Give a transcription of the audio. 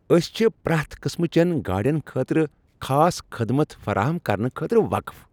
أسۍ چھ پرٛؠتھ قٕسمٕچٮ۪ن گاڑؠن خٲطرٕ خاص خدمت فراہم کرنہٕ خٲطرٕ وقف۔